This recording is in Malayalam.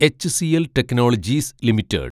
HCL technologies limited